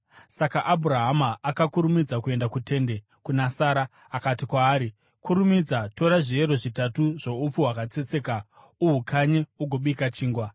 Saka Abhurahama akakurumidza kuenda kutende kuna Sara. Akati kwaari, “Kurumidza, tora zviero zvitatu zvoupfu hwakatsetseka uhukanye ugobika chingwa.”